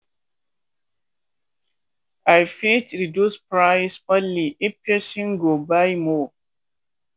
i fit reduce price only if person go buy more.